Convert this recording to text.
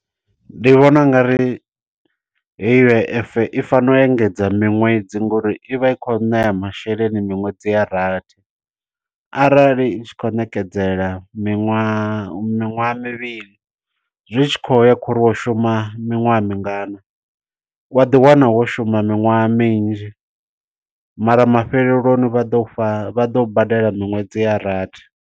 Ndi vhona ungari heyi U_I_F, i fanela u engedza miṅwedzi ngo uri ivha i kho ṋea masheleni miṅwedzi ya rathi. Arali i tshi kho ṋekedzela miṅwaha miṅwaha mivhili, zwi tshi khou ya kho uri wo shuma miṅwaha mingana. Wa ḓi wana wo shuma miṅwaha minzhi, mara mafheleloni vha ḓo u fha, vha ḓo u badela miṅwedzi ya rathi.